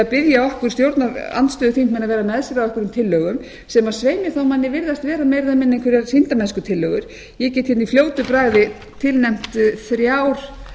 vera með sér á einhverjum tillögum sem svei mér þá manni virðast vera meira eða minna einhverjar sýndarmennskutillögur ég get hérna í fljótu bragði tilnefnt þrjár